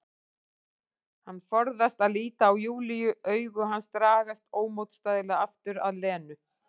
Hann forðast að líta á Júlíu, augu hans dragast ómótstæðilega aftur að Lenu.